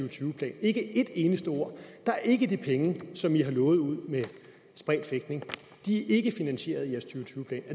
og tyve plan ikke et eneste ord der er ikke de penge som i har lovet ud med spredt fægtning de er ikke finansieret